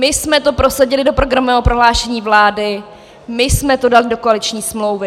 My jsme to prosadili do programového prohlášení vlády, my jsme to dali do koaliční smlouvy...